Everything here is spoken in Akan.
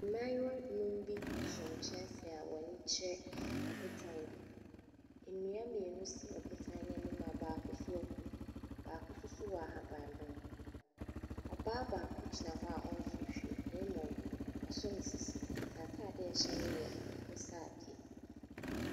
Mmaayewa abien bi so nkyɛnse a wɔrehwɛ ɔbotan bi. Nnua mmienu si ɔbotan no anim a baako so ewu na baako nso wɔ ahabanmono. Ɔbaa baako gyina hɔ a ɔnso hwee na mmom waso ne sisi. N’ataadeɛ a ɛhyɛ no yɛ akokɔsradeɛ.